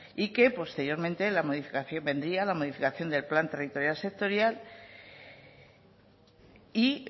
y que posteriormente la modificación vendría la modificación del plan territorial sectorial y